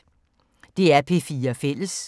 DR P4 Fælles